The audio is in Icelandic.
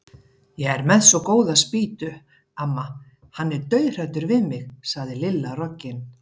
Ég er með svo góða spýtu, amma, hann er dauðhræddur við mig sagði Lilla roggin.